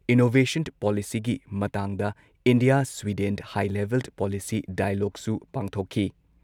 Innovation ꯄꯣꯂꯤꯁꯤꯒꯤ ꯃꯇꯥꯡꯗ India Sweden high level policy ꯗꯥꯏꯂꯣꯒꯁꯨ ꯄꯥꯡꯊꯣꯛꯈꯤ ꯫